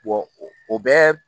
o bɛ